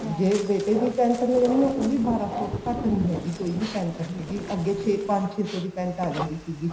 ਜੇ ਬੇਟੇ ਦੀ pent ਲੈਣੀ ਐ ਉਹ ਵੀ ਬਾਰਾ ਸੋ ਤੋਂ ਘੱਟ ਨੀ ਹੈਗੀ ਕੋਈ ਵੀ pent ਹੈਗੀ ਅੱਗੇ ਪੰਜ ਛੇ ਸੋ ਦੀ pent ਆ ਜਾਂਦੀ ਸੀਗੀ